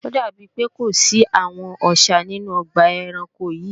Ó dàbí pé kò sí àwọn Ọṣà nínú ọgbà ẹranko yìí